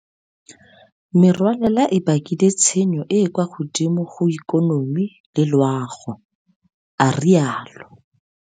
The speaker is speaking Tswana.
Merwalela e bakile tshenyo e e kwa godimo go ikonomi le loago, a rialo.